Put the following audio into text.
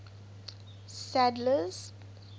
sadler's